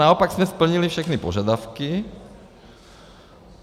Naopak jsme splnili všechny požadavky.